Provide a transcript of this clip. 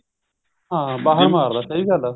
ਹਾਂ ਬਾਹਰ ਮਾਰਦਾ ਸਹੀ ਗੱਲ ਐ